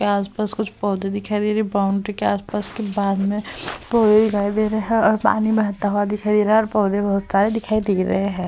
यहाँ आस-पास कुछ पौधे दिखाई दे रहे है। बाउन्ड्री के आस-पास के बाद में पौधे दिखाई दे रहे है और पानी बहता हुआ दिखाई दे रहा है और पौधे बहोत सारे दिखाई दे रहे है।